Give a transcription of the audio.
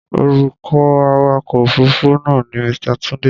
Orúkọ awakọ̀ òfuruufú náà ni Mr. Tunde.